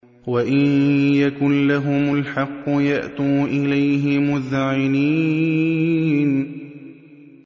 وَإِن يَكُن لَّهُمُ الْحَقُّ يَأْتُوا إِلَيْهِ مُذْعِنِينَ